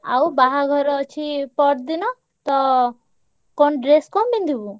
ଆଉ ବାହାଘର ଅଛି ପରଦିନ ତ କଣ dress କଣ ପିନ୍ଧିବୁ?